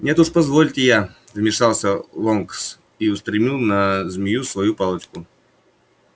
нет уж позвольте я вмешался лонкс и устремил на змею свою палочку